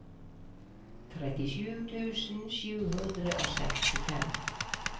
trettisju tusen sju hundre og sekstifem